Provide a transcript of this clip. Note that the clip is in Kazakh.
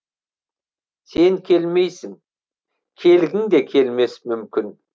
сен келмейсің келгің де келмес мүмкін